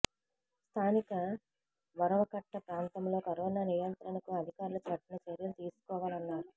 స్థానిక వరవకట్ట ప్రాంతంలో కరోనా నియంత్రణకు అధికారులు కఠిన చర్యలు తీసుకోవాలన్నారు